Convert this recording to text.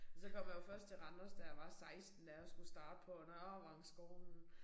Og så kommer jeg jo først til Randers da jeg var 16 da jeg skulle starte på Nørrevangsskolen